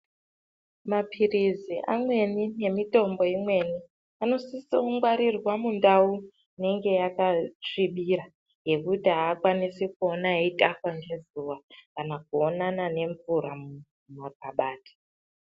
Mapirisi amweni ngemitombo imweni anosise kungwarirwa mundao inenge yakasvibira yekuti haakwaisi kuonana nezuva kana kuonana nemvura mumakabati .